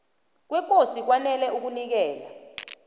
kwekosi kwanele ukunikela